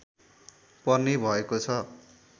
पर्ने भएको छ